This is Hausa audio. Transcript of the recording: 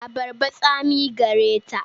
Abarbar tsami care ta.